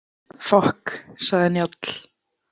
Fokk, sagði Njáll.